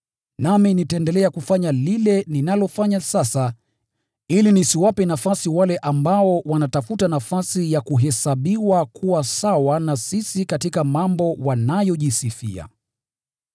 Nami nitaendelea kufanya lile ninalofanya sasa ili nisiwape nafasi wale ambao wanatafuta nafasi ya kuhesabiwa kuwa sawa na sisi katika mambo wanayojisifia.